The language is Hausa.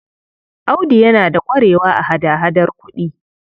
Audu yana da ƙwarewa a hada-hadar kuɗi.